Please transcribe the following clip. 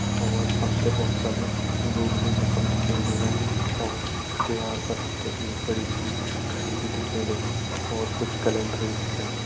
और हम ते भोत सारा लोग भीन यखम दिखेण लग्यां और दिवार पर हम ते एक बड़ी सी घड़ी भी दिखेण लगीं और कुछ कैलेंडर भी दिखेणा।